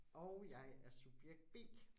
Og jeg er subjekt B